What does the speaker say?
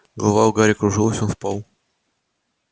голова у гарри кружилась он впал